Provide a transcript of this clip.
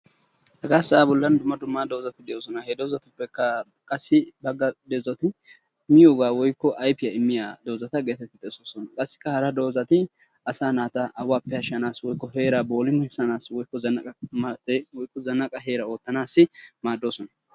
Hegaa sa'a bollan dumma dumma doozzati de"oossona. He doozatuppekka qassi miyoba woykko ayfiya immiya doozata getetti xeessettoosona. Qassikka hara doozati asaa naata awaappe ashanassi woykko heeraa bollumissanaassi woykko zanaqqa heera oottanaasi maaddoosona.